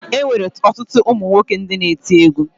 E nwere ọtụtụ ụmụ nwoke ndị na-eti egwu